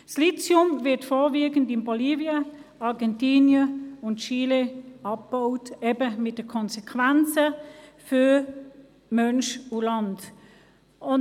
Das Lithium wird vorwiegend in Bolivien, Argentinien und Chile abgebaut – mit den Konsequenzen für Mensch und Land.